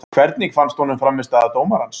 Hvernig fannst honum frammistaða dómarans?